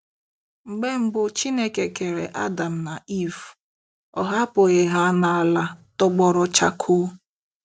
Mgbe mbụ Chineke kere Adam na Iv, ọ hapụghị ha n'ala tọgbọrọ chakoo.